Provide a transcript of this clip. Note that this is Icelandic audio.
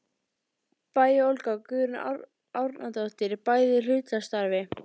Bæ og Olga Guðrún Árnadóttir, bæði í hlutastarfi.